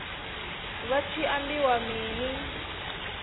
vha hu tshi ambiwa mini